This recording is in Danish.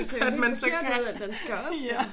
Han skal op